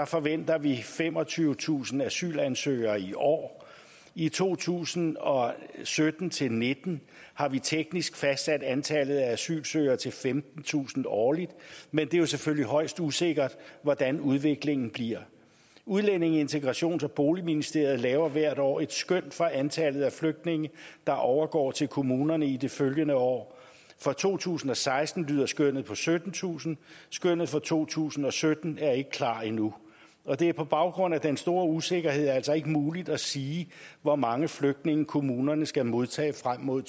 forventer vi femogtyvetusind asylansøgere i år i to tusind og sytten til nitten har vi teknisk fastsat antallet af asylansøgere til femtentusind årligt men det er jo selvfølgelig højst usikkert hvordan udviklingen bliver udlændinge integrations og boligministeriet laver hvert år et skøn for antallet af flygtninge der overgår til kommunerne i de følgende år for to tusind og seksten lyder skønnet på syttentusind skønnet for to tusind og sytten er ikke klar endnu og det er på baggrund af den store usikkerhed altså ikke muligt at sige hvor mange flygtninge kommunerne skal modtage frem mod